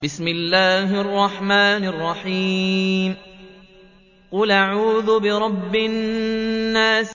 قُلْ أَعُوذُ بِرَبِّ النَّاسِ